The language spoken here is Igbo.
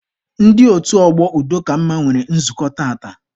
Ndị otu ọgbọ udo ka mma nwere nzukọ tata.